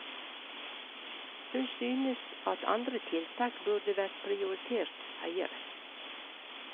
Hun synes at andre tiltak burde vært prioritert høyere.